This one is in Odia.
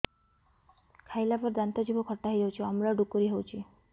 ଖାଇଲା ପରେ ଦାନ୍ତ ଜିଭ ଖଟା ହେଇଯାଉଛି ଅମ୍ଳ ଡ଼ୁକରି ହଉଛି